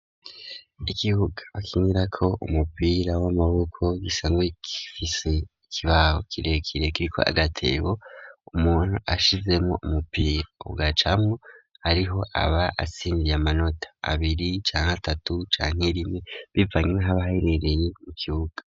Ikibuga bakinirako umupira w'amaboko gisanzwe gifise ikibaho kirekire kiriko agatebo umuntu ashizemwo umupira ugacamwo ariho aba atsindiye amanota abiri canke atatu canke rimwe bivanye naho aba aherereye mu kibuga.